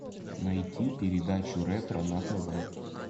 найти передачу ретро на тв